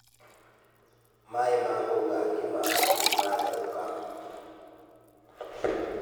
Maaĩ ma kũruga ngima nĩ matherũka.